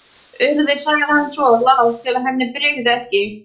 Urður- sagði hann svo, lágt til að henni brygði ekki.